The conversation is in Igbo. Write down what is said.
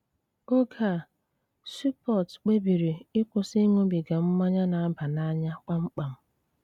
Ógé á, Súpót kpébírí íkwụ́sị íṅúbígá mmányá ná-àbá n'ánya kpámkpám.